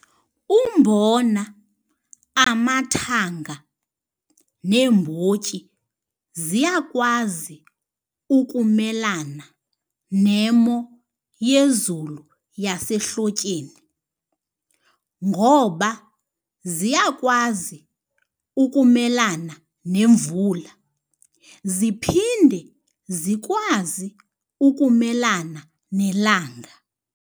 Umbona, amathanga, neembotyi ziyakwazi ukumelana nemo yezulu yasehlotyeni ngoba ziyakwazi ukumelana nemvula, ziphinde zikwazi ukumelana nelanga.